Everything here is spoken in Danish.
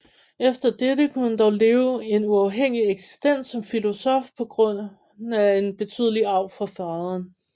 Efter dette kunne han dog leve en uafhængig eksistens som filosof på grund af en betydelig arv fra faderen